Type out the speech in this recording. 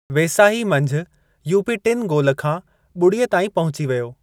वेसाही मंझि, यूपी टिनि गोल खां ॿुड़ीअ ताईं पहुंची वियो।